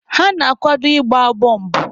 Ha na-akwado ịgba bọmbụ.